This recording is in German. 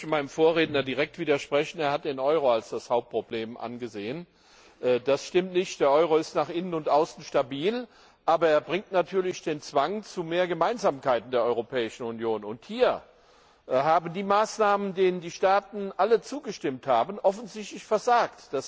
Ich möchte meinem Vorredner direkt widersprechen Er hat den Euro als das Hauptproblem angesehen. Das stimmt nicht Der Euro ist nach innen und außen stabil, aber er bringt natürlich den Zwang zu mehr Gemeinsamkeit in der Europäischen Union, und hier haben die Maßnahmen, denen die Staaten alle zugestimmt haben, offensichtlich versagt.